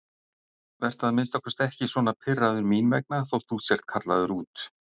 Vertu að minnsta kosti ekki svona pirraður mín vegna þótt þú sért kallaður út.